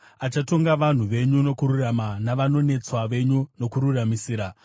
Achatonga vanhu venyu nokururama, navanonetswa venyu nokururamisira.